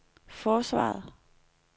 forsvaret